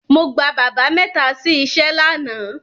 Mo gba bábà mẹ́ta sí iṣẹ́ lánàá.